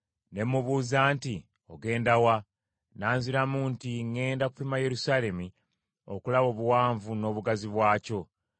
Ne mubuuza nti, “Ogenda wa?” Nanziramu nti, “Ŋŋenda kupima Yerusaalemi okulaba obuwanvu n’obugazi bwakyo.”